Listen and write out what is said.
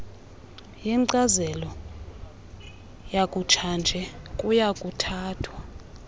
yenkcazelo yakutshanje kuyakuthathwa